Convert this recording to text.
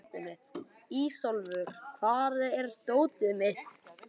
Ísólfur, hvar er dótið mitt?